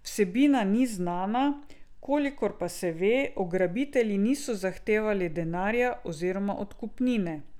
Vsebina ni znana, kolikor pa se ve, ugrabitelji niso zahtevali denarja oziroma odkupnine.